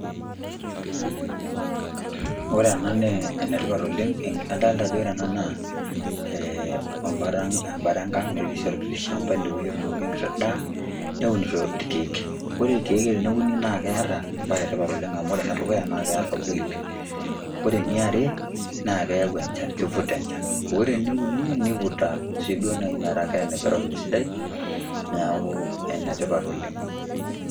Ore ena naa enetipat oleng', nadolita ena ajo naa embara enkang' netii olkiti shamba ended otuunoki enkiti daa neunitoi ilkeek. Ore ilkeek teneuni naa keata embae e tipat amu ore ene dukuya naa keata oloip. Ore ene are naa ayau enchan keivuta enchan. Ore ene uni neivuta sii duo meta keatai environment sidai neaku ene tipat oleng'.